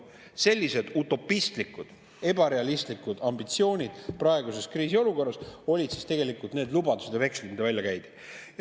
Sellised utopistlikud, ebarealistlikud ambitsioonid praeguses kriisiolukorras olid siis tegelikult need lubadused ja vekslite väljakäimine.